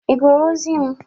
Ị gụrụ ozi m?